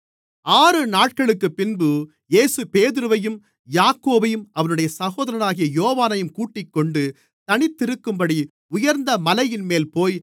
ஆறு நாட்களுக்குப்பின்பு இயேசு பேதுருவையும் யாக்கோபையும் அவனுடைய சகோதரனாகிய யோவானையும் கூட்டிக்கொண்டு தனித்திருக்கும்படி உயர்ந்த மலையின்மேல்போய்